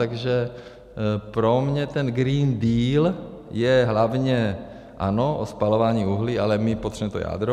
Takže pro mě ten Green Deal je hlavně, ano, o spalování uhlí, ale my potřebujeme to jádro.